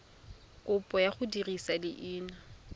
kopo ya go dirisa leina